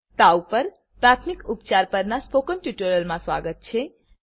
તાવ પર પ્રાથમિક ઉપચાર પરના સ્પોકન ટ્યુટોરીયલમાં સ્વાગત છે